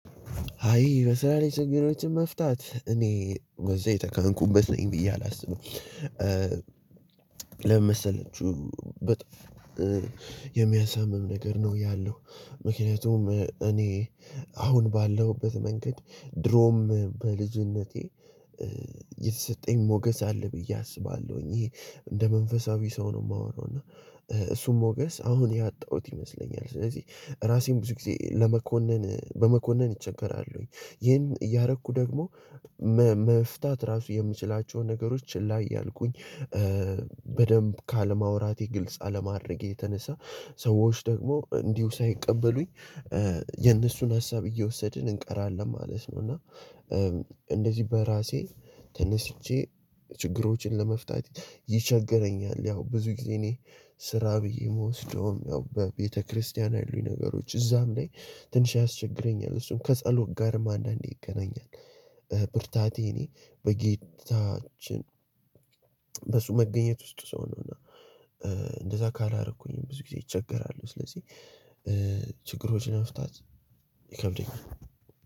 አይ በስራ ላይ ስንት መፍታት እኔ ወዛ የተካንኩበት ነኝ ብዬ አላስብም። ለምን መሰለችው? የሚያሳምም ነገር ነው ያለው። ምክንያቱም እኔ አሁን ባለሁበት መንገድ ድሮም በልጅነቴ። የተሰጠኝ ሞገስ አለ ብዬ አስባለሁኝ እንደ መንፈሳዊ ሰው ነው የማወራው እና እሱም ሞገስ አሁን ያጣሁት ይመስለኛል። ስለዚህ ራሴን ብዙ ጊዜ ለመኮነን በመኮነን እቸገራለሁኝ። ይህን እያረኩ ደግሞ መ መፍታት ራሱ የምችላቸውን ነገሮች ላይ እያልኩኝ። ካለማውራቴ ግልጽ አለማድረጌ የተነሳ ሰዎች ደግሞ እንዲሁ ሳይቀበሉኝ የነሱን ሀሳብ እየወሰድን እንቀራለን ማለት ነው። እና እንደዚህ በራሴ ተነስቼ ችግሮችን ለመፍታት ይቸገረኛል። ያው ብዙ ጊዜ እኔ ስራ ብዬ የምወስደውም ያው በቤተክርስቲያን ያሉኝ ነገሮች እዛም ላይ ትንሽ ያስቸግረኛል እሱም ከጸሎት ጋርም አንዳንዴ ይገናኛል። ብርታቴ እኔ በጌታችን በሱ መገኘት ውስጥ ሰው ነው። እና እንደዛ ካላረኩኝ ብዙ ጊዜ ይቸገራሉ። ስለዚህ ችግሮች ለመፍታት ይከብደኛል።